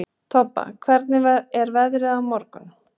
Todda, hvernig er veðrið á morgun?